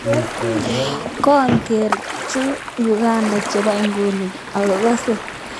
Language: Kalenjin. Kooger chu Uganda chebo inguni ako kase tager toget age kondochin emet noto.